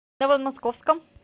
новомосковском